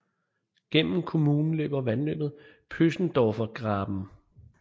Gennem kommunen løber vandløbet Pöschendorfer Graben